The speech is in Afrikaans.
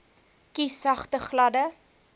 kies sagte gladde